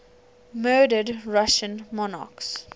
murdered russian monarchs